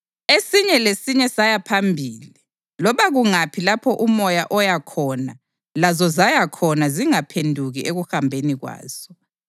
Esinye lesinye saya phambili. Loba kungaphi lapho umoya owaya khona lazo zaya khona zingaphenduki ekuhambeni kwazo.